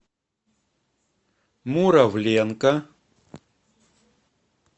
муравленко